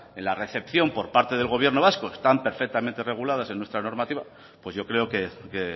en la recepción por parte del gobierno vasco están perfectamente reguladas en nuestra normativa pues yo creo que